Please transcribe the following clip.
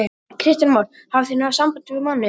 Kristján Már: Hafið þið náð sambandi við manninn?